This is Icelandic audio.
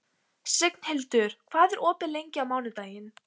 Signhildur, hvað er opið lengi á mánudaginn?